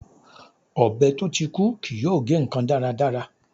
Ọbẹ̀ tó ti kú kì yóò gé ǹkan dáradára.